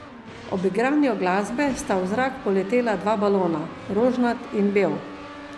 Ob igranju glasbe sta v zrak poletela dva balona, rožnat in bel.